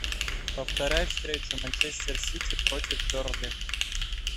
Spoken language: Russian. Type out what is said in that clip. повторяй встречу манчестер сити против бернли